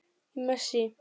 Í messi.